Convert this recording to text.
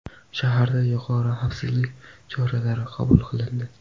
Shaharda yuqori xavfsizlik choralari qabul qilindi.